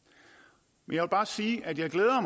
jeg vil bare sige at jeg glæder